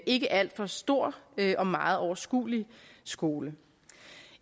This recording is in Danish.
ikke alt for stor og meget overskuelig skole